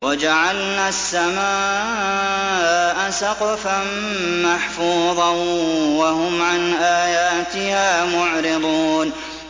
وَجَعَلْنَا السَّمَاءَ سَقْفًا مَّحْفُوظًا ۖ وَهُمْ عَنْ آيَاتِهَا مُعْرِضُونَ